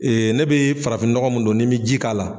Ee ne bɛ farafin nɔgɔ mun don ni bɛ ji k'a la.